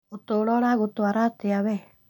ũtũro ũragũtwara atĩa we